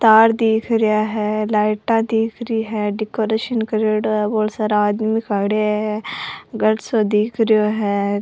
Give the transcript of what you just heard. तार दिख रेहा है लाइटा दिखा री है डेकोरेशन करेडो है और बहुत सारा आदमी खड़े है घर सो दिख रेहो है।